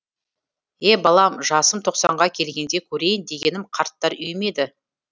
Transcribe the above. е балам жасым тоқсанға келгенде көрейін дегенім қарттар үйі ме еді